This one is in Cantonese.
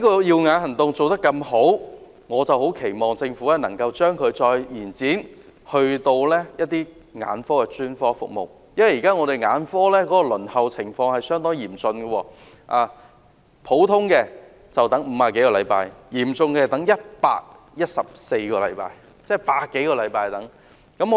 "耀眼行動"的成績這麼理想，我期望政府能夠將它擴展至其他眼科專科服務，因為現在眼科的輪候情況相當嚴峻，一般要等50多個星期；較久的更要等114個星期，即要等百多個星期。